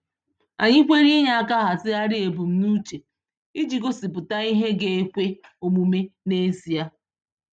Anyị kwere inye aka hazigharị ebumnuche iji gosipụta ihe ga-ekwe omume n’ezie.